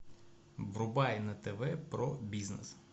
врубай на тв про бизнес